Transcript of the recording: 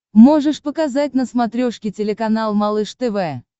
можешь показать на смотрешке телеканал малыш тв